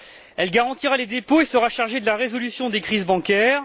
Elle garantira les dépôts et sera chargée de la résolution des crises bancaires.